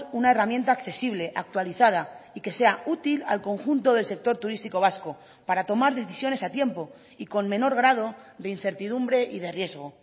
una herramienta accesible actualizada y que sea útil al conjunto del sector turístico vasco para tomar decisiones a tiempo y con menor grado de incertidumbre y de riesgo